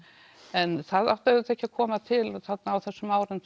en það átti auðvitað ekki að koma til á þessum árum